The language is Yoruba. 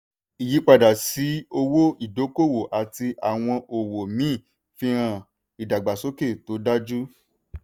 ìyípadà sí owó ìdókòwò àti àwọn òwò míì fihan ìdàgbàsókè tó dájú.